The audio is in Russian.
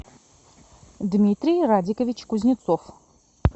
дмитрий радикович кузнецов